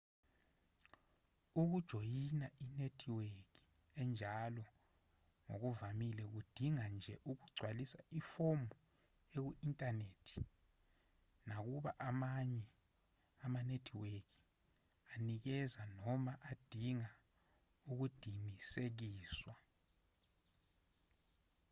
ukujoyina inethiweki enjalo ngokuvamile kudinga nje ukugcwalisa ifomu eku-inthanethi nakuba amanye amanethiweki anikeza noma adinga ukudinisekiswa